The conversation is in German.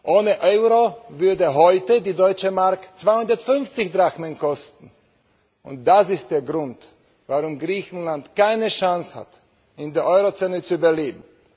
Ohne Euro würde heute die Deutsche Mark 250 Drachmen kosten, und das ist der Grund, warum Griechenland keine Chance hat, in der Eurozone zu überleben.